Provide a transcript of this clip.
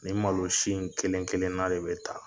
Ni malo si in kelen kelen na de bɛ ta